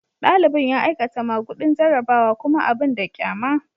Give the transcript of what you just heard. Dalibin ya yi aikata magudin jarrabawa kuma abin da kyama.